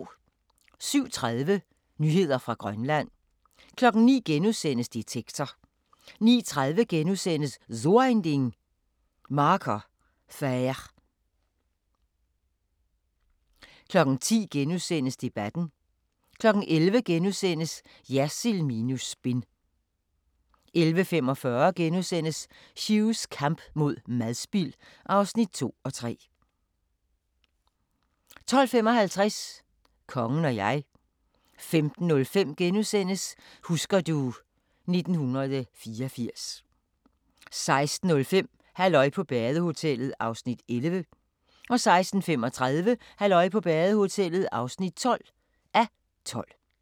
07:30: Nyheder fra Grønland 09:00: Detektor * 09:30: So ein Ding: Marker Faire * 10:00: Debatten * 11:00: Jersild minus spin * 11:45: Hughs kamp mod madspild (2:3)* 12:55: Kongen og jeg 15:05: Husker du... 1984 * 16:05: Halløj på badehotellet (11:12) 16:35: Halløj på badehotellet (12:12)